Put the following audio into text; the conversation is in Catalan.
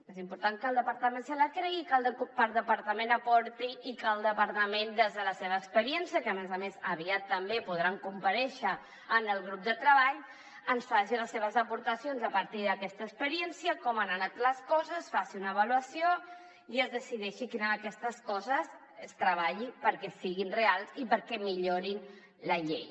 és important que el departament se la cregui i que el departament aporti i que el departament des de la seva experiència que a més a més aviat també podran comparèixer en el grup de treball ens faci les seves aportacions a partir d’aquesta experiència com han anat les coses faci una avaluació i es decideixi quina d’aquestes coses es treballi perquè siguin reals i perquè millorin la llei